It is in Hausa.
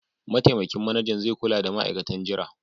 Mataimakin Manajan zai kula da ma'aikatan jira.